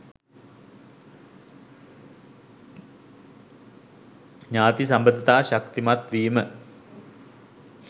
ඥාති සබඳතා ශක්තිමත් වීම